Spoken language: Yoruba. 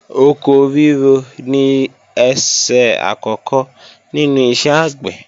Oko ríro ni ẹsẹ̀ àkọ́kọ́ nínú iṣẹ́ àgbẹ̀